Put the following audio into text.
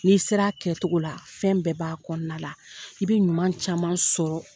N'i sera kɛ cogo la, fɛn bɛɛ b'a kɔnɔna la. I bI ɲuman caman sɔrɔ